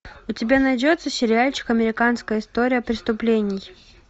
у тебя найдется сериальчик американская история преступлений